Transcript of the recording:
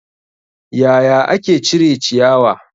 Yaya ake cire ciyawa?